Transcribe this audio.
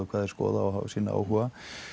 skoðar